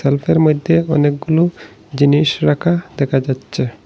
হুকের মইধ্যে অনেকগুলো জিনিস রাখা দেখা যাচ্ছে।